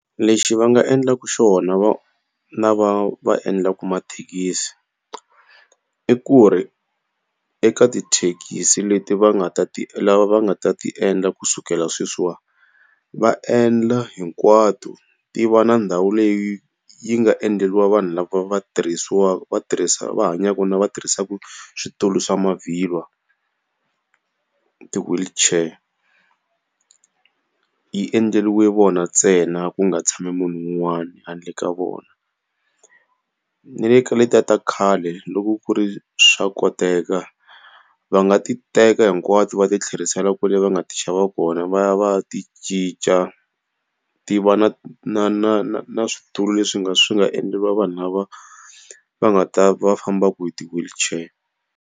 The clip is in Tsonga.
Lexi va nga endlaka xona lava va endlaka mathekisi, i ku ri eka tithekisi leti va nga ta ti lava va nga ta ti endla kusukela sweswiwani, va endla hinkwato ti va na ndhawu leyi yi nga endleriwa vanhu lava va va va hanyaka na va tirhisaka switulu swa mavhilwa, ti-wheelchair. Yi endleriwe vona ntsena ku nga tshami munhu un'wana handle ka vona. Ni le ka letiya ta khale loko ku ri swa koteka, va nga ti teka hinkwato va ti tlherisela kwale va nga ti xava kona va ya va ya ti cinca, ti va na na na na na switulu leswi nga swi nga endleriwa vanhu lava va nga ta va va famba hi ti-wheelchair.